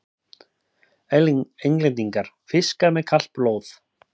Englendingar: fiskar með kalt blóð!